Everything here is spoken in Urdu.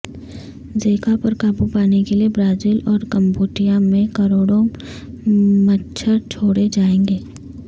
زیکا پر قابو پانے کے لیے برازیل اور کمبوڈیا میں کروڑوں مچھر چھوڑے جائیں گے